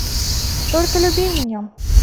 только люби меня